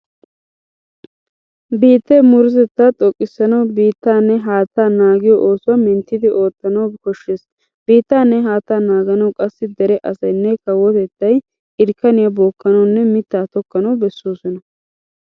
Biittee murutatettaa xoqqissanawu biittaanne haattaa naagiyo oosuwa minttidi oottanawu koshshees. Biittaanne haattaa naaganawu qassi dere asaynne kawotettay irkkaniya bookkanawunne mittaa tokkanawu bessoosona.